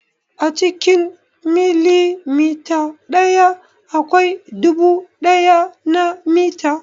A cikin milimita ɗaya akwai dubu ɗaya na mita.